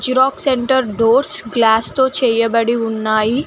Xerox centre doors glass తో చేయబడి ఉన్నాయి.